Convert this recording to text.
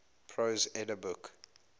prose edda book